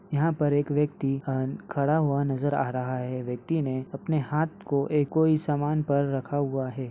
यहां पर एक व्यक्ति अ- खड़ा हुआ नजर आ रहा है। व्यक्ति ने अपने हाथ को एक कोई सामान पर रखा हुआ है।